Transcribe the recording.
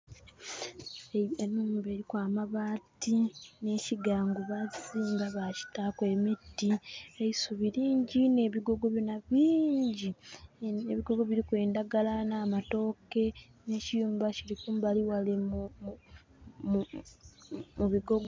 Enhumba eliku amabaati, n'kigangu bakiziimba ba kitaaku emiti. Eisubi lingyi n'ebigogo byona bingyi. Ebigogo biliku endagala n'amatooke. N'ekiyumba kili kumbali ghale mu bigogo.